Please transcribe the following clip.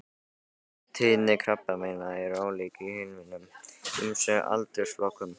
Tíðni krabbameina er ólík í hinum ýmsu aldursflokkum.